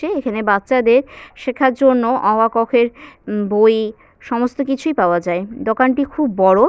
এখানে বাচ্চাদের শেখার জন্য অ আ ক খ এর বই সমস্ত কিছুই পাওয়া যায় দোকানটি খুব বড়।